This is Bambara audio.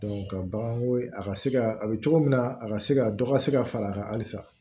ka baganko a ka se ka a bɛ cogo min na a ka se ka dɔ ka se ka far'a kan halisa